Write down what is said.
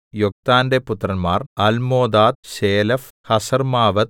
യൊക്താന്റെ പുത്രന്മാർ Almodad Sheleph ഹസർമ്മാവെത്ത്